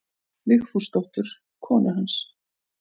Vigfúsdóttur konu hans.